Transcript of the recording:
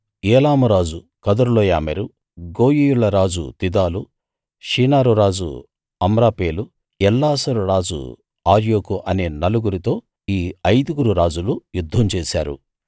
ఏలాము రాజు కదొర్లాయోమెరు గోయీయుల రాజు తిదాలు షీనారు రాజు అమ్రాపేలు ఎల్లాసరు రాజు అర్యోకు అనే నలుగురితో ఈ ఐదుగురు రాజులు యుద్ధం చేశారు